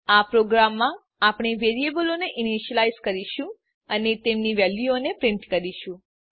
આ પ્રોગ્રામમાં આપણે વેરીએબલોને ઈનીશ્યલાઈઝ કરીશું અને તેમની વેલ્યુઓને પ્રીંટ કરીશું